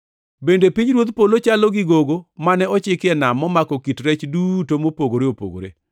“Bende pinyruodh polo chalo gi gogo mane ochiki e nam momako kit rech duto mopogore opogore.